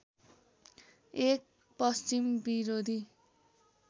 एक पश्चिम विरोधी